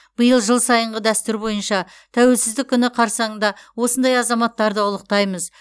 биыл жыл сайынғы дәстүр бойынша тәуелсіздік күні қарсаңында осындай азаматтарды ұлықтаймыз